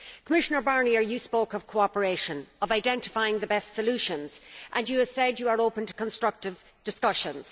Commissioner Barnier, you spoke of cooperation, of identifying the best solutions, and you have said you are open to constructive discussions.